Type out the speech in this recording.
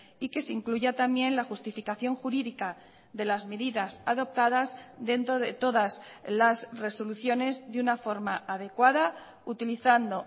y que se incluya también la justificación jurídica de las medidas adoptadas dentro de todas las resoluciones de una forma adecuada utilizando